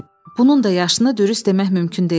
Bunun da yaşını dürüst demək mümkün deyildi.